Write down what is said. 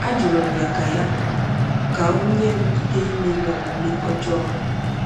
Ajụrụ m ya ka ya ka o nye m ike imeri omume ọjọọ m.